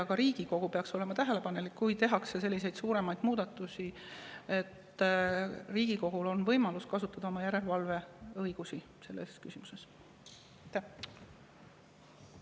Ka Riigikogu peaks olema tähelepanelik, sest kui tehakse selliseid suuremaid muudatusi, siis Riigikogul on võimalus niisugustes küsimustes kasutada oma järelevalveõigust.